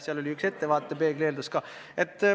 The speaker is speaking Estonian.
Seal oli üks ettevaatepeegli eeldus ka.